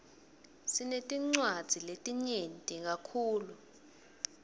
sinetinwadzi letinyeti kakhulu